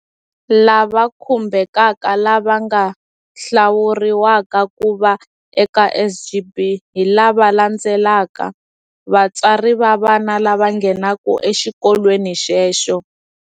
Lava khumbhekaka lava nga hlawuriwaka ku va eka SGB hi lava landzelaka- Vatswari va vana lava nghenaka exikolweni xexo.